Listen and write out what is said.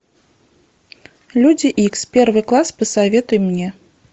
люди икс первый класс посоветуй мне